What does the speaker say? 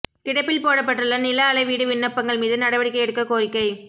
கிடப்பில் போடப்பட்டுள்ள நில அளவீடு விண்ணப்பங்கள் மீது நடவடிக்கை எடுக்கக் கோரிக்கை